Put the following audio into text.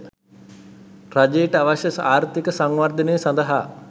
රජයට අවශ්‍ය ආර්ථික සංවර්ධනය සඳහා